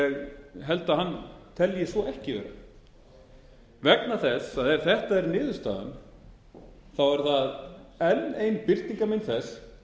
ég held að hann telji svo ekki vera vegna þess að ef þetta er niðurstaðan er það enn ein birtingarmynd þess